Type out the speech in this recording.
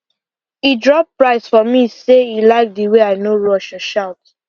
e drop price for me say e like the way i no rush or shout